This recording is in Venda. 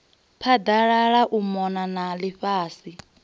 phaḓalala u mona na ḽifhasi